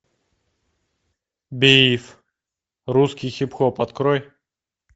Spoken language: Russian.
биф русский хип хоп открой